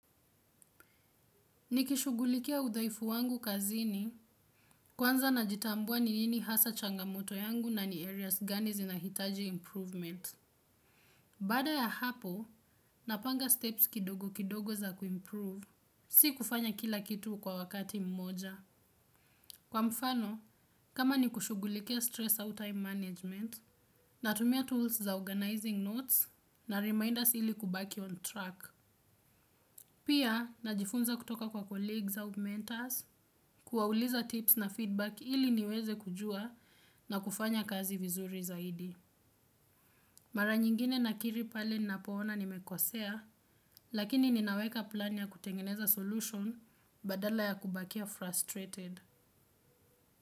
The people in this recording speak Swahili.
Nikishughulikia udhaifu wangu kazini kwanza najitambua ni nini hasa changamoto yangu na ni areas gani zinahitaji improvement. Baada ya hapo, napanga steps kidogo kidogo za kuimprove. Si kufanya kila kitu kwa wakati mmoja. Kwa mfano, kama ni kushughulikia stress au time management, natumia tools za organizing notes na reminders ili kubaki on track. Pia, najifunza kutoka kwa colleagues au mentors kuwauliza tips na feedback ili niweze kujua na kufanya kazi vizuri zaidi. Mara nyingine nakiri pale ninapoona nimekosea, lakini ninaweka plan ya kutengeneza solution badala ya kubakia frustrated.